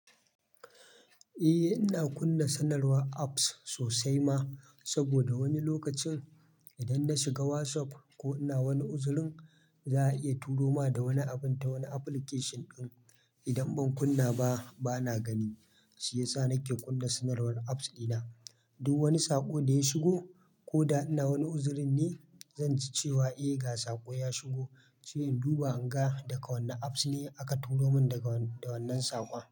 Eh ina kunna sanarwar apps sosai ma, saboda wani lokacin idan na shiga WhatsApp ko ina wani uzurin za'a iya turo ma da wani abun ta wani application ɗin. Idan ban kunna ba bana gani shiyasa nake kunna sanarwar apps dina. Duk wani saƙo daya shigo koda ina wani uzurin ne zanji cewa eh ga saƙo ya shigo, sai in duba inga daga wanna apps ne aka turo min da wannan saƙon.